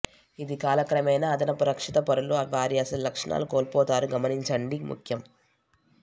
ఇది కాలక్రమేణా అదనపు రక్షిత పొరలు వారి అసలు లక్షణాలు కోల్పోతారు గమనించండి ముఖ్యం